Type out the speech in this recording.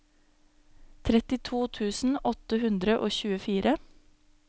trettito tusen åtte hundre og tjuefire